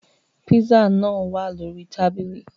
Pízzà nàa wạ̀ lórí tábìlì.